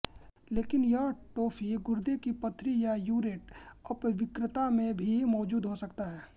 लेकिन यह टोफी गुर्दे की पथरी या यूरेट अपवृक्कता में भी मौजूद हो सकता है